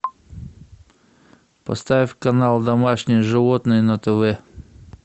поставь канал домашние животные на тв